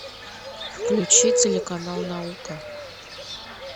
включи телеканал наука